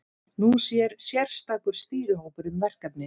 Nú sér sérstakur stýrihópur um verkefnið.